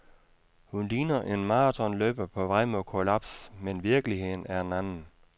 Hun ligner en maratonløber på vej mod kollaps, men virkeligheden er en anden.